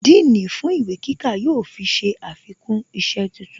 Dean fún ìwé kíkà yóò fi ṣe àfikún isẹ́ tuntun